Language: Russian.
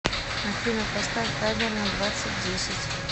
афина поставь таймер на двадцать десять